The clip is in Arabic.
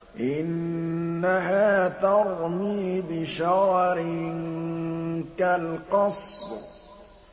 إِنَّهَا تَرْمِي بِشَرَرٍ كَالْقَصْرِ